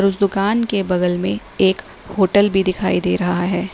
उस दुकान के बगल में एक होटल भी दिखाई दे रहा है।